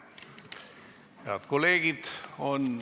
Head kolleegid!